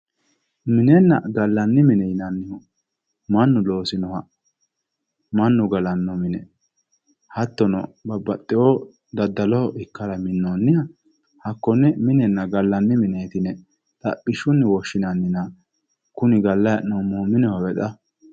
Minenna gallanni mine yinannihu mannu loosiniha ikkanna mannu loosino mine mannu galanno mine hattono babbaxxinohu daddaloho ikkara minnoonniha hakkonne minenna gallanni mineeti yinanni xaphishshunni woshshinannina kuni gallayi hee'noommohu minehowe xa.